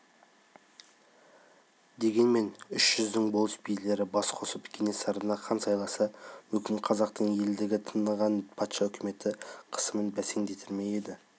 дегенмен үш жүздің болыс-билері бас қосып кенесарыны хан сайласа мүмкін қазақтың елдігін таныған патша үкіметі қысымын бәсеңдетер ме еді